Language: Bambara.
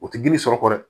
O ti girin sɔrɔ kɔ dɛ